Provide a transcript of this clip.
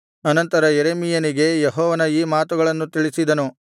ಅನಂತರ ಯೆರೆಮೀಯನಿಗೆ ಯೆಹೋವನು ಈ ಮಾತುಗಳನ್ನು ತಿಳಿಸಿದನು